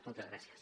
moltes gràcies